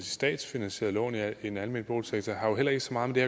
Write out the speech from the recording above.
statsfinansierede lån i en almen boligsektor har jo heller ikke så meget med